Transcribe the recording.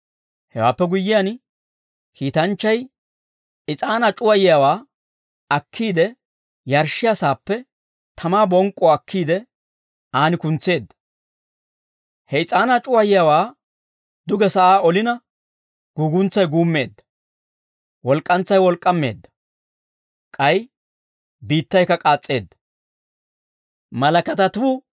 Hewaappe guyyiyaan, kiitanchchay is'aanaa c'uwayiyaawaa akkiide, yarshshiyaa saappe tamaa bonk'k'uwaa akkiide, aan kuntseedda. He is'aanaa c'uwayiyaawaa duge sa'aa olina, guuguntsay guummeedda. Walk'k'antsay wolk'k'aameedda; k'ay biittaykka k'aas's'eedda.